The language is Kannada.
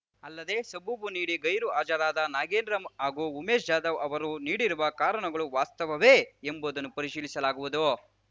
ಅಲ್ಲದೆ ಸಬೂಬು ನೀಡಿ ಗೈರು ಹಾಜರಾದ ನಾಗೇಂದ್ರ ಹಾಗೂ ಉಮೇಶ್‌ ಜಾಧವ್‌ ಅವರು ನೀಡಿರುವ ಕಾರಣಗಳು ವಾಸ್ತವವೇ ಎಂಬುದನ್ನು ಪರಿಶೀಲಿಸಲಾಗುವುದು